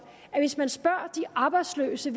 at hvis man spørger de arbejdsløse